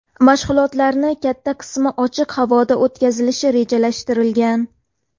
Mashg‘ulotlarning katta qismi ochiq havoda o‘tkazilishi rejalashtirilgan.